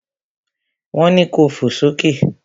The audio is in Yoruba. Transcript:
Wọn ni ko fò sókè!